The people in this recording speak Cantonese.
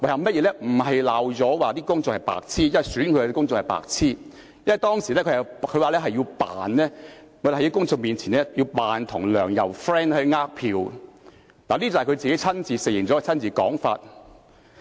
不是罵公眾是白癡，即選他的公眾是白癡，而是他說當時在公眾面前要假裝與梁、游要好來騙選票，這是他親自承認的說法。